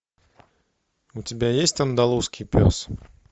у тебя есть андалузский пес